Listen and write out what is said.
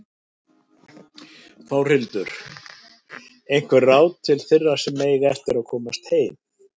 Þórhildur: Einhver ráð til þeirra sem eiga eftir að komast heim?